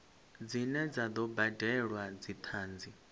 dzine dza do badelwa dzithanzi